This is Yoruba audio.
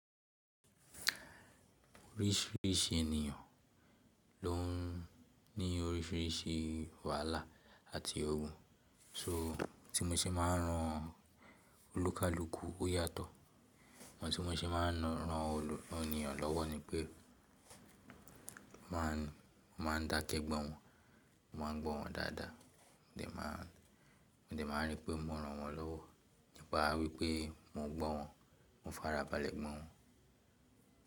Orísìírísìí ènìyàn ló ń ní orísìírísìí wàhálà àti ogun. So tí mo ṣe máa ń ran olúkalúkú ó yàtọ̀, àwọn tí mo ṣe máa ń ran ènìyàn lọ́wọ́ ni pé mo máa ń dakẹ́ gbọ́ wọn, mo máa ń gbọ́ wọn dáadáa, mo dẹ̀ máa rí pé mo ran wọ́n lọ́wọ́ nípa wípé mo ń gbọ́ wọn, mò ń farabalẹ̀ gbọ́ wọn.